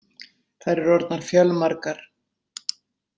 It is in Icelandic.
Þær eru orðnar fjölmargar.